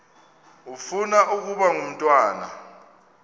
ufuna ukaba ngumntwana